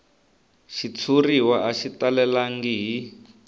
xitshuriwa a xi talelangi hi